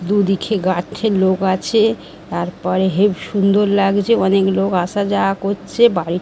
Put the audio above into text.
দুদিকে গাঁঠের লোক আছে। তারপরে হেফ সুন্দর লাগছে অনেক লোক আসা যাওয়া করছে বাড়ি--